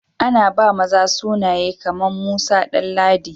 A na ba maza sunaye kaman Musa, Danladi